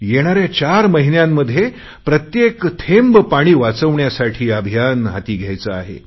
येणाऱ्या चार महिन्यांमध्ये प्रत्येक थेंब पाणी वाचवण्यासाठी अभियान हाती घ्यायचे आहे